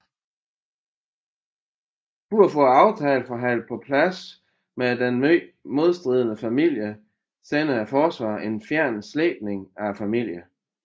For at få aftalen forhandlet på plads med den meget modstridende familie sender forsvaret en fjern slægtning af familien